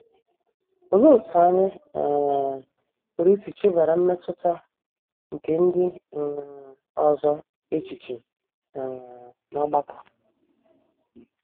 Olee otú anyị um pụrụ isi chebara mmetụta nke ndị um ọzọ echiche um n’ọgbakọ?